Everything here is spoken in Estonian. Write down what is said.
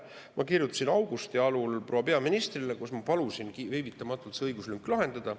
Ma kirjutasin augusti algul proua peaministrile ja palusin viivitamatult see õiguslünk lahendada.